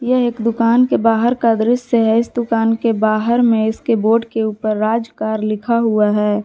यह एक दुकान के बाहर का दृश्य है इस दुकान के बाहर में इसके बोर्ड के ऊपर राज कार लिखा हुआ है।